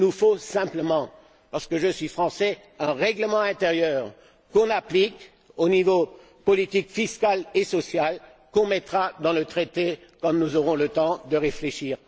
Il nous faut simplement, parce que je suis français, un règlement intérieur qu'on applique au niveau des politiques fiscales et sociales, qu'on mettra dans le traité quand on aura le temps de réfléchir.